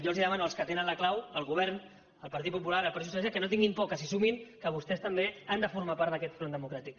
jo els demano als que tenen la clau al govern al partit popular al partit socialista que no tinguin por que s’hi sumin que vostès també han de formar part d’aquest front democràtic